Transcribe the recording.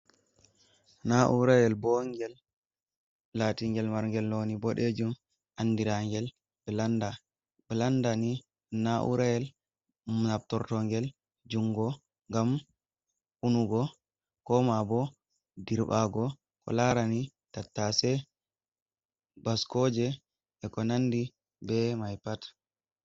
naurael bong in el latingel marngel noni bodejum andirangel blanda blandani naurayel aptortongel jungo ngam unugo koma bo dirbago ko larani tattase bascoje e ko nandi be mai pat